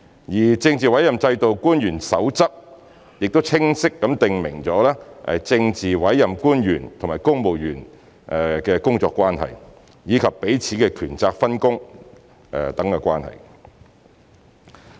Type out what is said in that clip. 而《政治委任制度官員守則》亦已清晰訂明政治委任官員與公務員的工作關係，以及彼此的權責分工等關係。